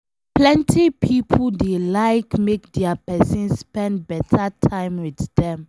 Plenty pipo dey like make dia pesin spend beta time with dem